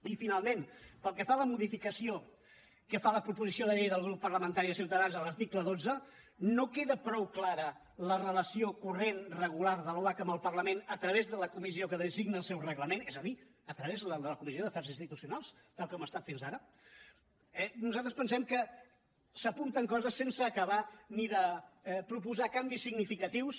i finalment pel que fa a la modificació que fa la proposició de llei del grup parlamentari de ciutadans a l’article dotze no queda prou clara la relació corrent regular de l’oac amb el parlament a través de la comissió que designa el seu reglament és a dir a través de la comissió d’afers institucionals tal com ha estat fins ara nosaltres pensem que s’apunten coses sense acabar ni de proposar canvis significatius